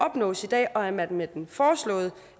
opnås i dag og at man med den foreslåede